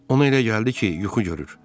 Ona elə gəldi ki, yuxu görür.